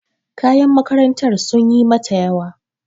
Kayan makarantar sunyi mata yawa.